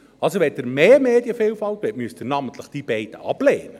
Wenn Sie mehr Medienvielfalt wollen, müssen Sie namentlich diese beiden ablehnen.